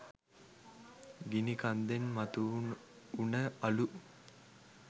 ගිනි කන්දෙන් මතු වුන අළු